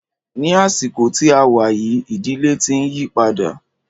Ní àsìkò tí a wá yìí, ìdílé tí ń yípadà.